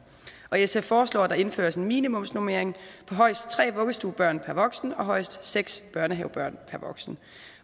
sf foreslår at der indføres en minimumsnormering på højst tre vuggestuebørn per voksen og højst seks børnehavebørn per voksen